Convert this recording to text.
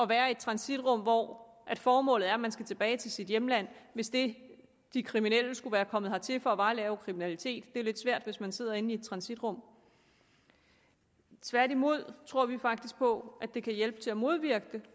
være i et transitrum hvor formålet er at man skal tilbage til sit hjemland hvis det de kriminelle skulle være kommet hertil for var at lave kriminalitet det er jo lidt svært hvis man sidder inde i et transitrum tværtimod tror vi faktisk på at det kan hjælpe til at modvirke det